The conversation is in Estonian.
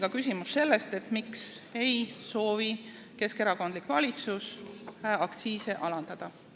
Ja küsimus on meil veel selle kohta, miks ei soovi keskerakondlik valitsus aktsiise alandada.